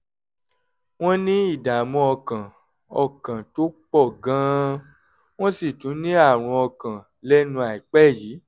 wọ́n ní ìdààmú ọkàn ọkàn tó pọ̀ gan-an wọ́n sì tún ní àrùn ọkàn lẹ́nu àìpẹ́ yìí